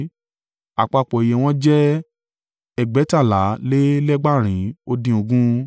Àpapọ̀ iye wọn jẹ́ ẹgbẹ̀tàlá lé lẹ́gbàarin ó dín ogún (8,580).